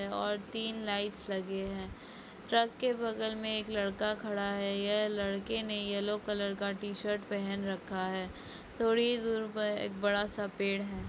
और तीन लाईटस लगे है ट्रक के बगल में एक लड़का खड़ा है ये लड़के ने येल्लो कलर का टी-शर्ट पहन रखा है थोड़ी ही दूर पर एक बड़ा सा पेड़ है।